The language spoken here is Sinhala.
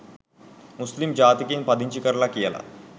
මුස්ලිම් ජාතිකයින් පදිංචි කරලා කියලා.